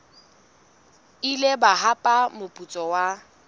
ile ba hapa moputso wa